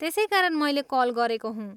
त्यसै कारण मैले कल गरेको हुँ।